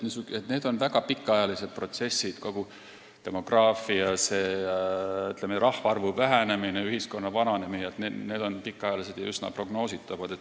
Ma arvan, et need on väga pikaajalised protsessid – demograafia, rahvaarvu vähenemine, ühiskonna vananemine – ja üsna prognoositavad.